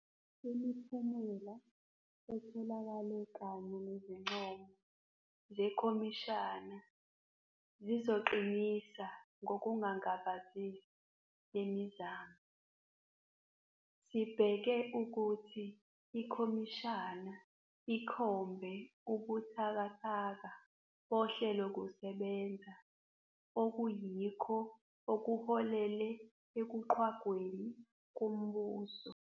Imiphumela etholakele kanye nezincomo zekhomishana zizoqinisa ngokungangabazisi le mizamo. Sibheke ukuthi ikhomishana ikhombe ubuthakathaka bohlelokusebenza okuyikho okuholele ekuqhwagweni kombuso.